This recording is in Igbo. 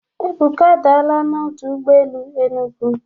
Ebuka adaala na ọdụ ụgbọ elu Enugu.